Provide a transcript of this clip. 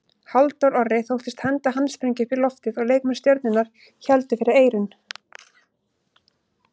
Halldór Orri þóttist henda handsprengju upp í loftið og leikmenn Stjörnunnar héldu fyrir eyrun.